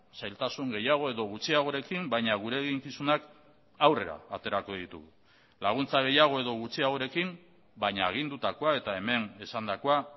zailtasun gehiago edo gutxiagorekin baina gure eginkizunak aurrera aterako ditugu laguntza gehiago edo gutxiagorekin baina agindutakoa eta hemen esandakoa